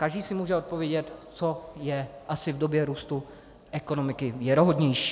Každý si může odpovědět, co je asi v době růstu ekonomiky věrohodnější.